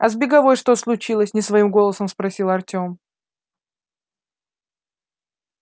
а с беговой что случилось не своим голосом спросил артем